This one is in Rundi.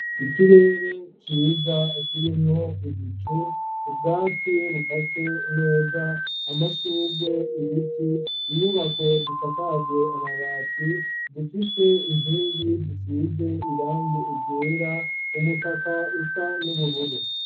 Ikirere ciza akirimwo ibicu ubwatsi bukase neza amashugwe ibiti inyubako zisakajwe amabati zifise inkingi zisize irange egera umutaka usa n'ubururu.